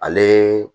Ale